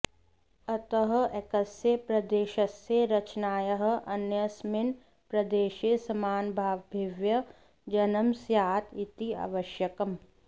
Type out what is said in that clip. अतः एकस्य प्रदेशस्य रचनायाः अन्यस्मिन् प्रदेशे समानभावाभिव्यजनं स्यात् इति आवश्यकम्